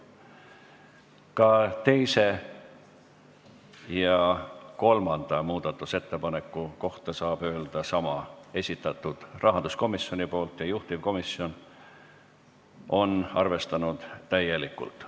Ka teise ja kolmanda muudatusettepaneku kohta saab öelda sama: need on rahanduskomisjoni esitatud ja juhtivkomisjon on neid arvestanud täielikult.